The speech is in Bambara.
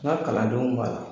N ka kalandenw b'a la.